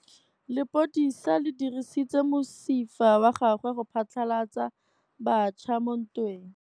Lepodisa le dirisitse mosifa wa gagwe go phatlalatsa batšha mo ntweng.